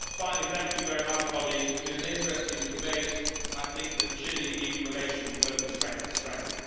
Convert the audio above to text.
2. Finally, thank you very much colleagues. It has been an interesting debate, and I think that Chile EU relations will go from strength to strength.